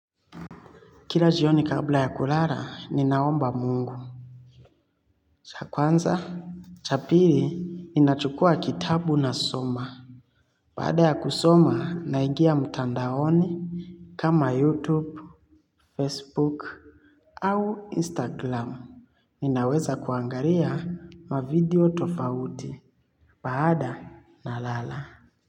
Kila jioni kabla ya kulala, ninaomba mungu. Cha kwanza, cha pili, ninachukua kitabu nasoma. Baada ya kusoma, naingia mtandaoni kama YouTube, Facebook, au Instagram. Ninaweza kuangalia mavideo tofauti. Baada nalala.